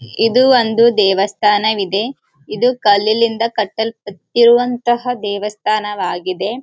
ಇದು ಒಂದು ದೇವಸ್ಥಾನವಿದೆ ಇದು ಕಲ್ಲಿನಿಂದ ಕಟ್ಟಲ್ಪಟ್ಟಿರುವಂತಹ ದೇವಸ್ಥಾನವಾಗಿದೆ.